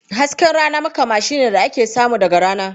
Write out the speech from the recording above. Hasken rana makamashi ne da aka samu daga rana.